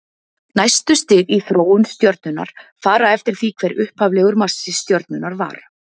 næstu stig í þróun stjörnunnar fara eftir því hver upphaflegur massi stjörnunnar var